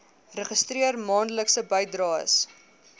registreer maandelikse bydraes